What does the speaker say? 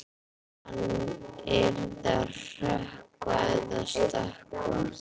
Hann yrði að hrökkva eða stökkva.